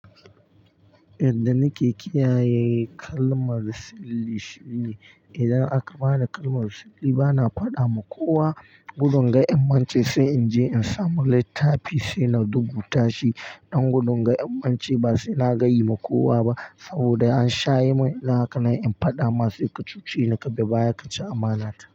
Yadda nake kiyaye kalmar sirri shi ne, idan aka bani kalmar sirri bana fada ma kowa gudun ga 'in mance sai in je in samu littafi sai na rubuta shi. Dan gudun ga 'in mance ba se na gayi ma kowa ba saboda an sha yi min irin haka na fada ma sai kacuce ni kaje baya kaci amana ta.